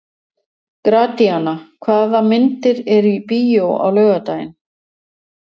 Gratíana, hvaða myndir eru í bíó á laugardaginn?